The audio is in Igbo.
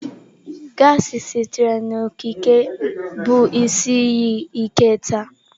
Gassi sitere n'okike bụ isi iyi ike taa.